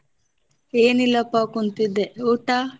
ಏನಿಲ್ಲಪಾ ಕುಂತಿದ್ದೆ ಊಟಾ?